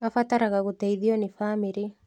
Abataraga gũteithio nĩ bamĩrĩ